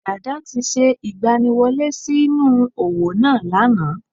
Dàdá ti se ìgbaniwọlé sí nú òwò náà lánàá